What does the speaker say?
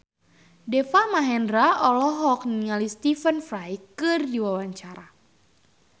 Deva Mahendra olohok ningali Stephen Fry keur diwawancara